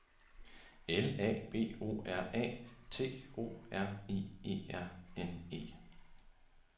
L A B O R A T O R I E R N E